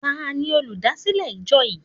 Tani olúdásílè ìjọ yìí?